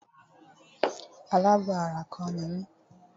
Alábọ̀ ara kọ́ ni mí.